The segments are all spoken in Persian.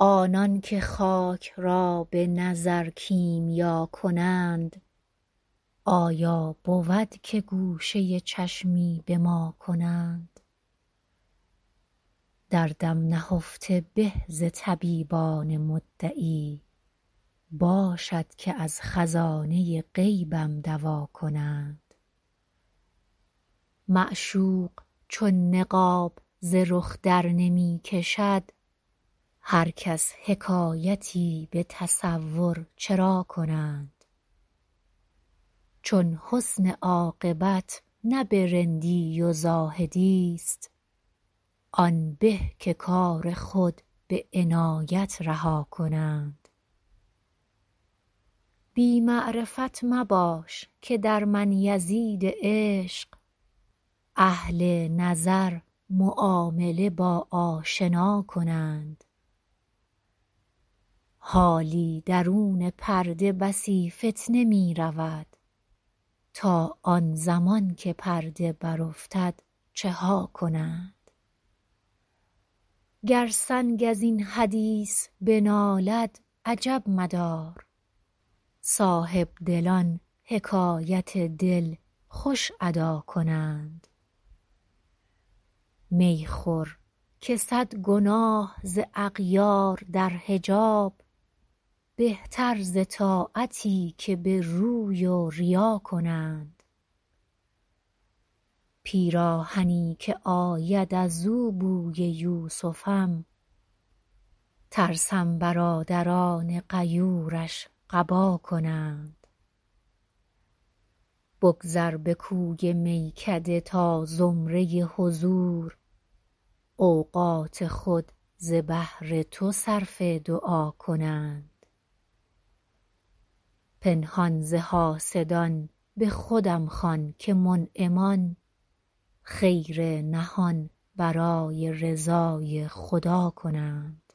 آنان که خاک را به نظر کیمیا کنند آیا بود که گوشه چشمی به ما کنند دردم نهفته به ز طبیبان مدعی باشد که از خزانه غیبم دوا کنند معشوق چون نقاب ز رخ درنمی کشد هر کس حکایتی به تصور چرا کنند چون حسن عاقبت نه به رندی و زاهدی ست آن به که کار خود به عنایت رها کنند بی معرفت مباش که در من یزید عشق اهل نظر معامله با آشنا کنند حالی درون پرده بسی فتنه می رود تا آن زمان که پرده برافتد چه ها کنند گر سنگ از این حدیث بنالد عجب مدار صاحبدلان حکایت دل خوش ادا کنند می خور که صد گناه ز اغیار در حجاب بهتر ز طاعتی که به روی و ریا کنند پیراهنی که آید از او بوی یوسفم ترسم برادران غیورش قبا کنند بگذر به کوی میکده تا زمره حضور اوقات خود ز بهر تو صرف دعا کنند پنهان ز حاسدان به خودم خوان که منعمان خیر نهان برای رضای خدا کنند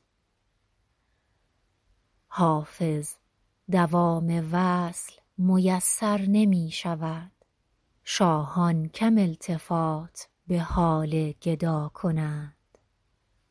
حافظ دوام وصل میسر نمی شود شاهان کم التفات به حال گدا کنند